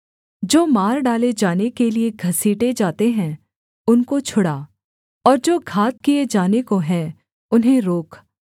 जो मार डाले जाने के लिये घसीटे जाते हैं उनको छुड़ा और जो घात किए जाने को हैं उन्हें रोक